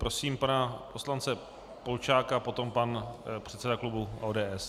Prosím pana poslance Polčáka, potom pan předseda klubu ODS.